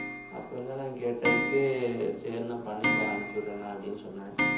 அப்புறம்தான் நான் கேட்டதுக்கு சரிண்ணா பண்ணிக்கலாம் அனுப்பிச்சு விடுறேண்ணா அப்படின்னு சொன்னாங்க